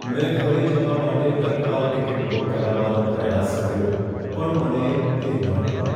મેં ઘરે જવા માટે તત્કાલ ટિકિટ બુક કરાવવાનો પ્રયાસ કર્યો પણ મને તે ન મળી.